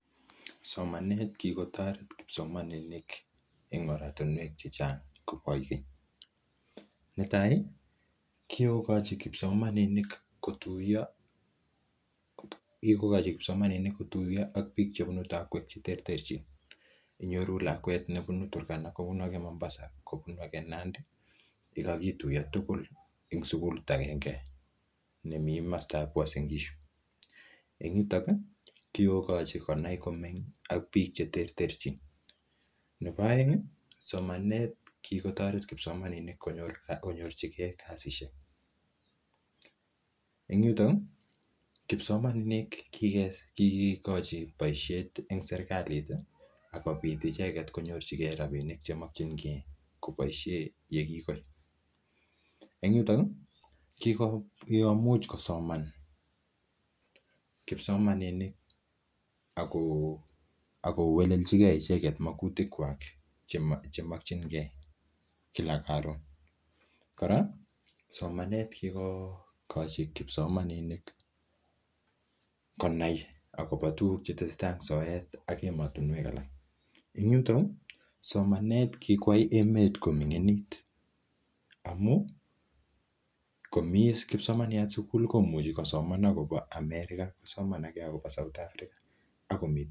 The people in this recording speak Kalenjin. Somanet kigotoret kipsomaninik en oratinwek che chang koboi keny. Netai kigokochi kipsomaninik kotuiyo ak biik chbeune takwek che terterchin. Inyoru lakwet nebunu Turkana, kobunu age Mombasa, kobunu age Nandi yekogituiyo tugul en sugulit agenge nemi komostab Uasin Gishu. En yuto kigogochi konai komeny ak biik che terchin. Nebooeng somanet kigotoret kipsmaninik konyorjige kasishek. En yuto kipsomaninik kigigochi boisiet en serkalit ak kong'et icheget konyorjige rabinik che mokinge koboishe ye kigoit. En yuto kigomuch kosoman kipsomaninik ago welelchige icheget magutik kwak che mokinge icheget en kila ka kila. Kora somanet ko kigogochi kipsomaninik konai agobo tugk che tesetai en soet ak emotinwek alak. En yuto somanet kikwai emet koming'init amun komi kipsomaniat sugul, komuchi kosoman agobo America, kosoman age agobo South Africa.